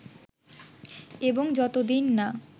এবং যতদিন না